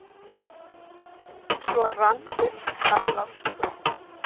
Svo rann upp gamlárskvöld.